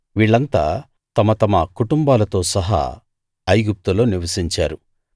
వీళ్ళంతా తమ తమ కుటుంబాలతో సహా ఐగుప్తులో నివసించారు